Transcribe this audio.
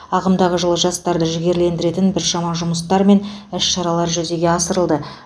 ағымдағы жылы жастарды жігерлендіретін біршама жұмыстар мен іс шаралар жүзеге асырылды